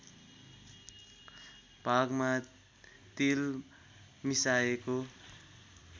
भागमा तिल मिसाएको